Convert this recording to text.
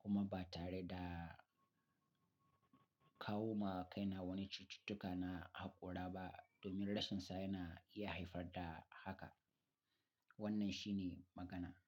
kuma ba tare da kawo ma kaina wani cututtuka na haƙora ba domin rashinsa yana iya haifar da haka. Wannan shi ne magana.